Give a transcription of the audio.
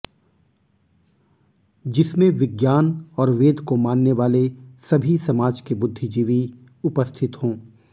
जिसमें विज्ञान और वेद को मानने वाले सभी समाज के बुद्धिजीवी उपस्थित हो